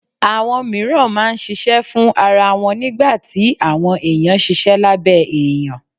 Àwọn mìíràn máa ń ṣiṣẹ́ fún ara wọn nígbà tí àwọn èèyàn ṣiṣẹ́ lábẹ́ èèyàn